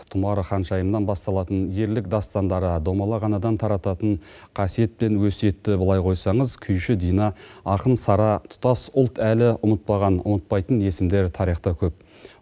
тұмар ханшайымнан басталатын ерлік дастандары домалақ анадан тарататын қасиет пен өсиетті былай қойсаңыз күйші дина ақын сара тұтас ұлт әлі ұмытпаған ұмытпайтын есімдер тарихта көп